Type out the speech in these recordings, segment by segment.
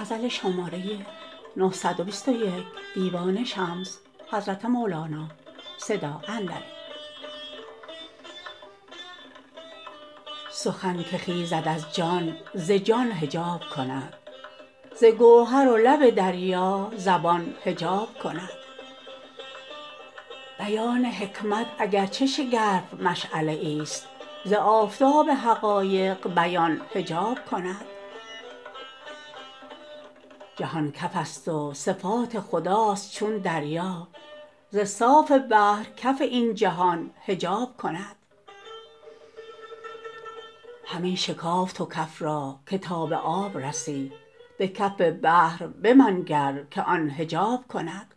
سخن که خیزد از جان ز جان حجاب کند ز گوهر و لب دریا زبان حجاب کند بیان حکمت اگر چه شگرف مشعله ایست ز آفتاب حقایق بیان حجاب کند جهان کفست و صفات خداست چون دریا ز صاف بحر کف این جهان حجاب کند همی شکاف تو کف را که تا به آب رسی به کف بحر بمنگر که آن حجاب کند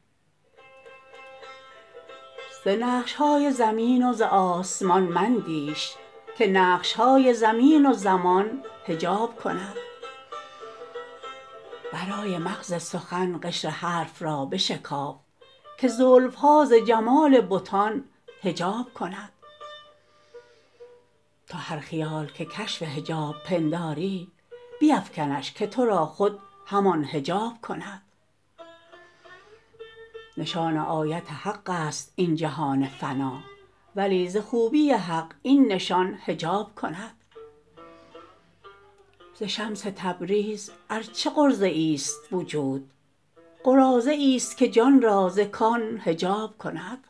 ز نقش های زمین و ز آسمان مندیش که نقش های زمین و زمان حجاب کند برای مغز سخن قشر حرف را بشکاف که زلف ها ز جمال بتان حجاب کند تو هر خیال که کشف حجاب پنداری بیفکنش که تو را خود همان حجاب کند نشان آیت حقست این جهان فنا ولی ز خوبی حق این نشان حجاب کند ز شمس تبریز ار چه قراضه ایست وجود قراضه ایست که جان را ز کان حجاب کند